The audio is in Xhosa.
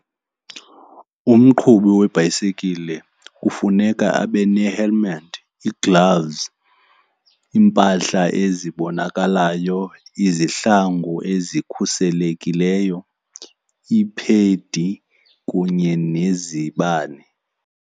Umqhubi webhayisikile kufuneka abe ne-helmet, ii-gloves, iimpahla ezibonakalayo, izihlangu ezikhuselekileyo, iiphedi kunye nezibane.